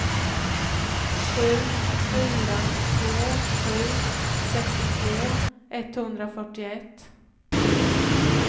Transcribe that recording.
sju fyra två sju sextiotvå etthundrafyrtioett